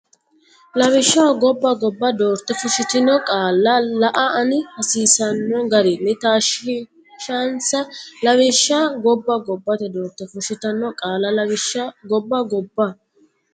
Lawishsha ggobba gobba doorte fushshitino qaalla la anni hasiisanno garinni taashshinsa Lawishsha ggobba gobba doorte fushshitino qaalla Lawishsha ggobba gobba.